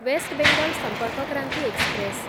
waste Bengal Sampark Kranti express